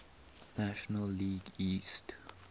national league east